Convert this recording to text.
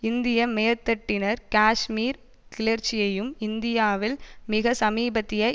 இந்திய மேற்தட்டினர் காஷ்மீர் கிளர்ச்சியையும் இந்தியாவில் மிக சமீபத்திய